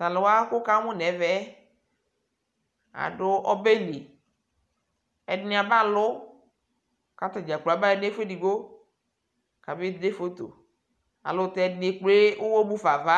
talʋwa kʋwʋkamʋ nɛvɛ aɖʋ ɔbɛli ɛɖini abalʋ kataɖƶa kplo abaya nɛƒʋɛ ɛɖigbo kabe ƶɛ yeyeƶɛlʋ ayɛlʋtɛ ɛɖini ekple ɔwɔɔ mʋƒa ava